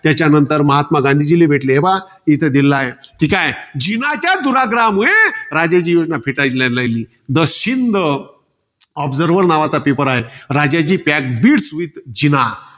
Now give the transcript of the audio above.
त्याच्यानंतर महात्मा गांधीजीले भेटले. हे पहा इथे दिलेलं आहे. ठीकाय. जिनाच्या दुर्ग्राहामुळे, राजाजी योजना फेटाळून राहिली. दशिंद. Observer नावाचा paper आहे. Rajaji pack beads with Jinnah